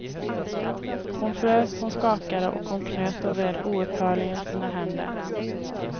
Hon frös, hon skakade och hon knöt och vred oupphörligen sina händer.